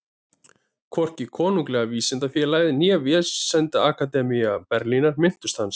Hvorki Konunglega vísindafélagið né Vísindaakademía Berlínar minntust hans.